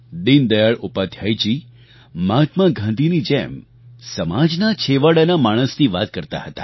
દીનદયાળ ઉપાધ્યાયજી મહાત્મા ગાંધીની જેમ સમાજના છેવાડાના માણસની વાત કરતા હતા